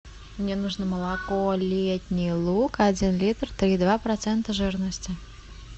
мне нужно молоко летний луг один литр три и два процента жирности